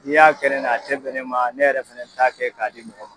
N'i y'a kɛ ne la a tɛ bɛn ne ma ne yɛrɛ fɛnɛ t'a kɛ k'a di mɔgɔ ma.